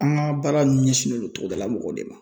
An ka baara ɲɛsinnen don togodala mɔgɔw de ma.